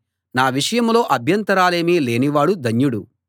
నా విషయంలో అభ్యంతరాలేమీ లేని వాడు ధన్యుడు